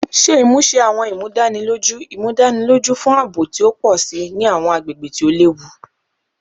Ṣe imuse Awọn Imudaniloju Imudaniloju fun aabo ti o pọ si ni awọn agbegbe ti o lewu